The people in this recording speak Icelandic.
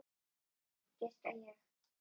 Fisk, giskaði ég.